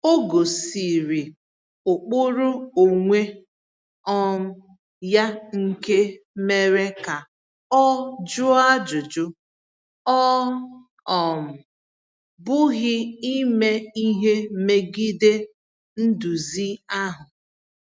O gosiri ụkpụrụ onwe um ya nke mere ka ọ jụọ ajụjụ, ọ um bụghị ime ihe megide nduzi ahụ.